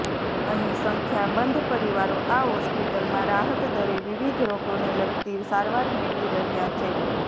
અહીં સંખ્યાબંધ પરિવારો આ હોસ્પિટલમાં રાહત દરે વિવિધ રોગોને લગતી સારવાર મેળવી રહ્યા છે